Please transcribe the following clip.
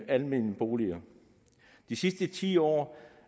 almene boliger i de sidste ti år